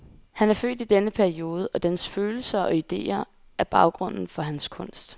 Han er født i denne periode, og dens følelser og idéer er baggrunden for hans kunst.